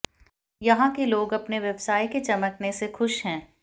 यहां के लोग अपने व्यवसाय के चमकने से खुश हैं